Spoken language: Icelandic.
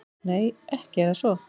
Nei, ekki er það svo.